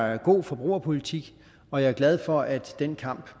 er en god forbrugerpolitik og jeg er glad for at den kamp